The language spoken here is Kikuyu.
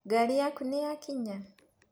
Ngari yaku nĩyakinya.